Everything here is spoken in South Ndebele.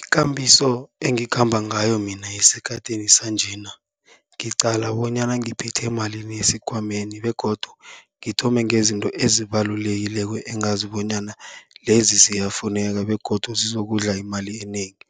Ikambiso engikhamba ngayo mina esikhathini sanjena, ngiqala bonyana ngiphethe malini esikhwameni begodu ngithome ngezinto ezibalulekileko, engazi bonyana lezi ziyafuneka begodu zizokudla imali enengi.